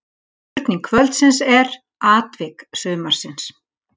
Spurning kvöldsins er: Atvik sumarsins?